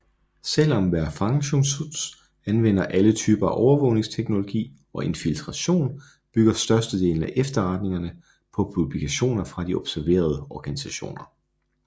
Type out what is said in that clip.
Selv om Verfassungsschutz anvender alle typer af overvågningsteknologi og infiltration bygger størstedelen af efterretningerne på publikationer fra de observerede organisationer